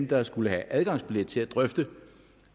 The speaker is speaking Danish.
der skulle have adgangsbillet til at drøfte